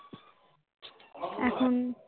এখন